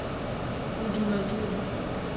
bodumaduma